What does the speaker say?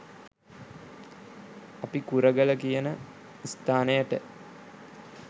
අපි කුරගල කියන ස්ථානයට